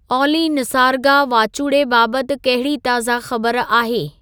ऑली निसारगा वाचूड़े बाबति कहिड़ी ताज़ा ख़बर आहे